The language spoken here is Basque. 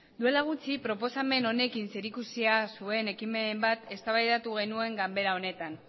duela gutxi proposamen honekin zerikusia zuen ekimen bat eztabaidatu genuen ganbara honetan